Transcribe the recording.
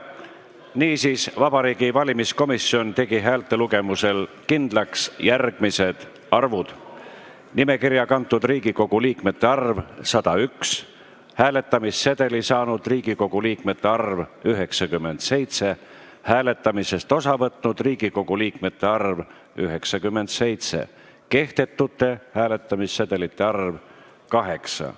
Niisiis, Vabariigi Valimiskomisjon tegi häälte lugemisel kindlaks järgmised arvud: nimekirja kantud Riigikogu liikmete arv – 101, hääletamissedeli saanud Riigikogu liikmete arv – 97, hääletamisest osa võtnud Riigikogu liikmete arv – 97, kehtetute hääletamissedelite arv – 8.